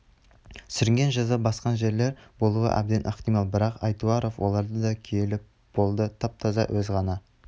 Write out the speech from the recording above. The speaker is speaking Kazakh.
сүрінген жаза басқан жерлер болуы әбден ықтимал бірақ айтуаров оларды да күйелеп болды тап-таза өз ғана